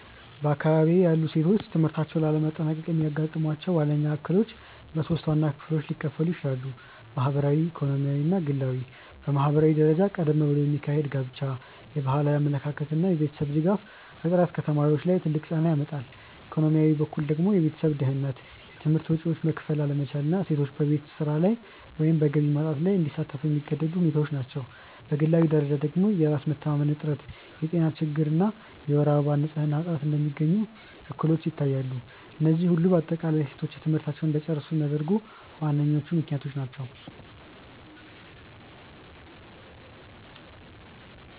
በአካባቢዬ ያሉ ሴቶች ትምህርታቸውን ላለማጠናቀቅ የሚያጋጥሟቸው ዋነኞቹ እክሎች በሶስት ዋና ክፍሎች ሊከፈሉ ይችላሉ። ማህበራዊ፣ ኢኮኖሚያዊ እና ግላዊ። በማህበራዊ ደረጃ ቀደም ብሎ የሚካሄድ ጋብቻ፣ የባህላዊ አመለካከት እና የቤተሰብ ድጋፍ እጥረት ከተማሪዎች ላይ ትልቅ ጫና ያመጣሉ፤ ኢኮኖሚያዊ በኩል ደግሞ የቤተሰብ ድህነት፣ የትምህርት ወጪዎችን መክፈል አለመቻል እና ሴቶች በቤት ስራ ወይም በገቢ ማምጣት ላይ እንዲሳተፉ የሚገደዱ ሁኔታዎች ናቸው፤ በግላዊ ደረጃ ደግሞ የራስ መተማመን እጥረት፣ የጤና ችግሮች እና የወር አበባ ንፅህና እጥረት እንደሚገኙ እክሎች ይታያሉ፤ እነዚህ ሁሉ በአጠቃላይ ሴቶች ትምህርታቸውን እንዳይጨርሱ የሚያደርጉ ዋነኞቹ ምክንያቶች ናቸው።